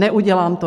Neudělám to.